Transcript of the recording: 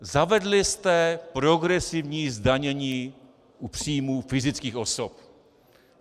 Zavedli jste progresivní zdanění u příjmů fyzických osob.